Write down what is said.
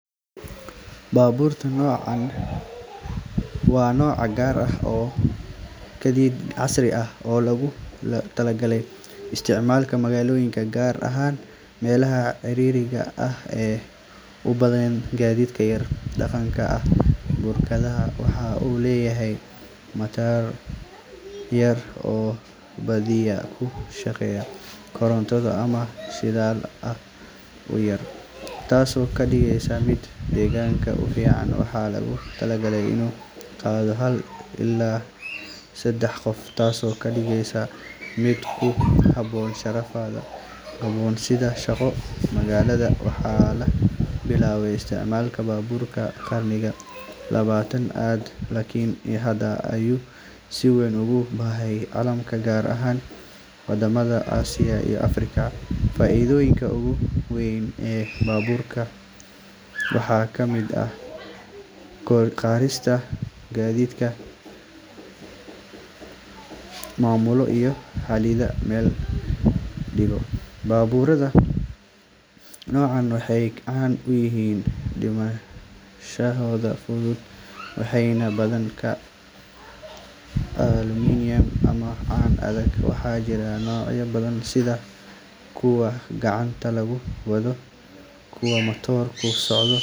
Maalmahan dad badan ayaa aad u xiiseeya baabuurta noocaan ah, sababtoo ah baabuurta noocan ah waxay isku daraan qurux, raaxo, iyo tiknoolojiyad casri ah oo ka dhigaysa in qof walba uu dareemo kalsooni iyo farxad marka uu wado. Baabuurta noocaan ah waxay leeyihiin naqshad soo jiidasho leh oo casri ah, taasoo ka dhigaysa in dadka da’yar iyo waayeelba ay jeclaadaan inay leeyihiin. Intaa waxaa dheer, baabuurta noocaan ah badanaa waxay ku qalabaysan yihiin aalado ammaan oo horumarsan sida kamaradaha gadaal iyo hore, nidaamka xakameynta xawaaraha, iyo qalabka digniinta shilalka, taasoo ka dhigaysa inay aad uga badbaado badan baabuurta caadiga ah. Sidoo kale, baabuurta noocaan ah waxay leeyihiin matoorro waxtar badan oo tamar badbaadiya.